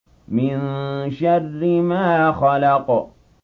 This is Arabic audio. مِن شَرِّ مَا خَلَقَ